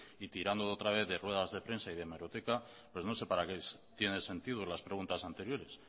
y tirando otra vez de ruedas de prensa y de hemeroteca no sé para qué tiene sentido las preguntas anteriores